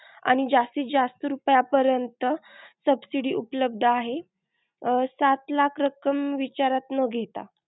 आणि जास्तीजास्त रुपया परंत subsidy उपलब्द आहे सात लाख रक्क्म विचारात न घेता.